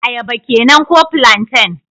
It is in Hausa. Ayaba kenan ko plantain?